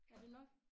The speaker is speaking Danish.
Er det nok?